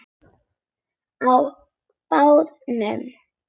Á barnum!